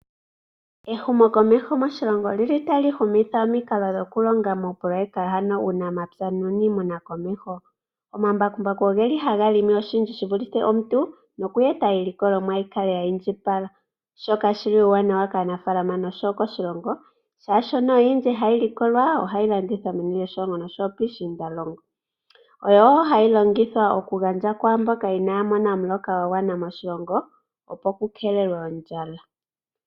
Ehumokomeho moshilongo oli tali tali humitha omikalo dhokulonga ano oopoloyeka muunamapya uuniimuna komeho. Omambakumbaku ohaga limi oshindji shi vulithe omuntu noku eta iilikolomwa kale ya indjipale, shoka shi li oshiwanawa koshigwana oshowo konshilongo, oshoka oyindji hayi likolwa ohayi landithwa meni lyoshilongo nosho wo piishiindalongo. Oyo wo hayi longithwa okugandjwa kwaa mboka inaaya mona omuloka gwa gwana moshilongo, opo ku keelelwe ondjala.